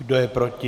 Kdo je proti?